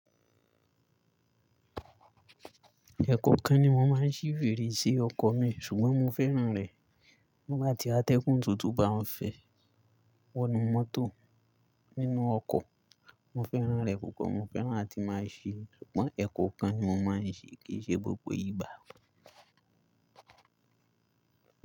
Ẹ̀ẹ̀kọ̀kan ni mo máa ń ṣí fèrèsé ọkọ̀ mi ṣùgbọ́n mo fẹ́ràn rẹ̀. Nígbà tí a tẹ́kùn tuntun bá ń fẹ́ wọnú mọ́tò nínú ọkọ̀, mo fẹ́ràn rẹ̀ púpọ̀, mo fẹ́ràn láti máa ṣí. Ṣùgbọ́n ẹ̀kọ̀kan ni mo máa ń ṣi kì í ṣe gbogbo ìgbà.